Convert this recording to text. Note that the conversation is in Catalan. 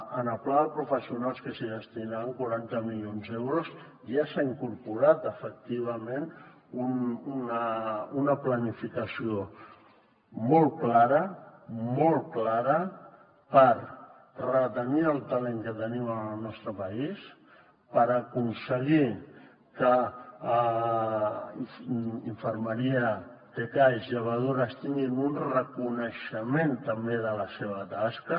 en el pla de professionals que s’hi destinaran quaranta milions d’euros ja s’hi ha incorporat efectivament una planificació molt clara molt clara per retenir el talent que tenim en el nostre país per aconseguir infermeria tcais llevadores tinguin un reconeixement també de la seva tasca